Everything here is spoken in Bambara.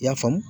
I y'a faamu